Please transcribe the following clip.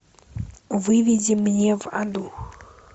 выведи мне в аду